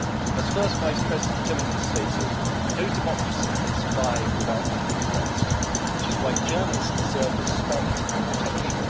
As First Vice President Timmermans stated, no democracy can survive without the free press, which is why journalists deserve respect and protection.